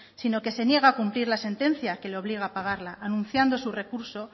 si no que se niega a cumplir la sentencia que le obliga a pagarla anunciando su recurso